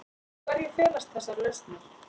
Í hverju felast þessar lausnir?